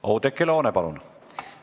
Oudekki Loone, palun!